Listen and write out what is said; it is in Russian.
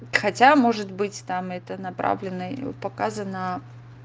хотя может быть там это направленный показано